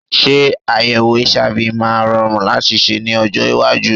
Ṣé àyèwò HIV máa rọrùn láti ṣe ní ọjọ́ iwájú!